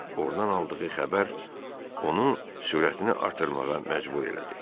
Və ordan aldığı xəbər onu sürətini artırmağa məcbur elədi.